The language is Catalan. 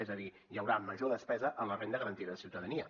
és a dir hi haurà major despesa en la renda garantida de ciutadania